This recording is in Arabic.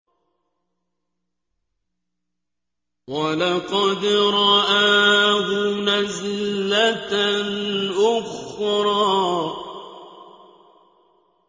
وَلَقَدْ رَآهُ نَزْلَةً أُخْرَىٰ